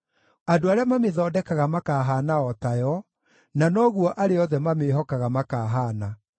Andũ arĩa mamĩthondekaga makaahaana o tayo, na noguo arĩa othe mamĩĩhokaga makaahaana.